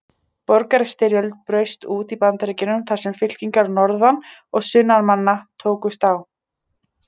Borgarastyrjöld braust út í Bandaríkjunum þar sem fylkingar norðan- og sunnanmanna tókust á.